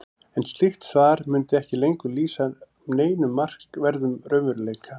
en slíkt svar mundi ekki lengur lýsa neinum markverðum raunveruleika